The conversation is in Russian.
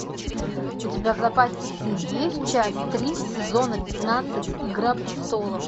у тебя в запасе есть часть три сезона пятнадцать игра престолов